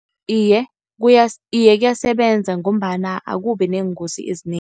Iye, iye kuyasebenza ngombana akubi neengozi ezinengi.